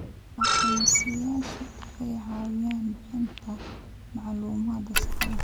Aqoonsiyeyaashu waxay caawiyaan bixinta macluumaad sax ah.